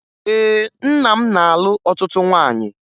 Ee, nna m na-alụ ọtụtụ nwaanyị